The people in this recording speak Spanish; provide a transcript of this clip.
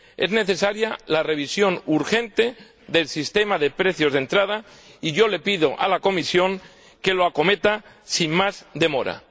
Es necesaria la revisión urgente del sistema de precios de entrada, y yo le pido a la Comisión que la acometa sin más demora.